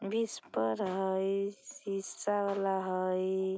विस्पर हाई शीशा वाला हाई।